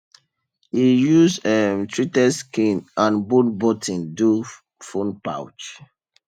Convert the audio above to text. e use um treated skin and bone button do phone pouch